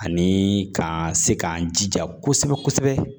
Ani ka se k'an jija kosɛbɛ kosɛbɛ